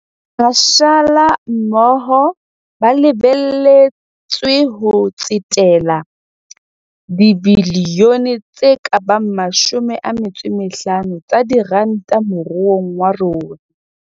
Mashala mmoho ba lebe letswe ho tsetela dibilione tse ka bang 50 tsa diranta mo ruong wa rona.